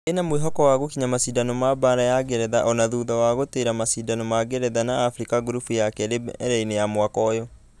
Ĩnamwĩhoko wa gũkinya mashidano ma baara ya ngeretha ona thutha wa gũtĩra mashidano ma ngeretha na africa gurubu ya kerĩ mbere-inĩ mwaka ũyũ.